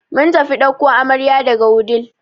Mun tafi ɗauko amarya daga wudil.